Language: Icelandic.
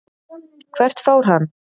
Hvert fór hann?